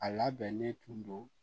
A labɛnnen tun don